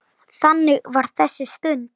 Þannig var þessi stund.